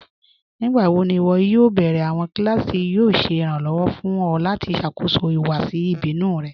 Nígbàwò̀ ní ìwọ́ yóò bẹ̀rẹ̀ awọn kílásì tí yóò ṣè irànlowọ̀ fún ọ̀ lati ṣákóṣọ́ ìhùwàsì ìbínù rẹ̀?